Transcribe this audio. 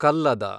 ಕಲ್ಲದ